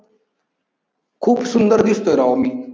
खूप सुंदर दिसतोय राव मी.